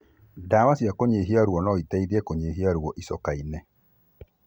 Ndawa cia kũnyihia ruo, noiteithie kũnyihia ruo icoka-inĩ